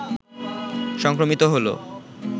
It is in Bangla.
সংক্রমিত হলো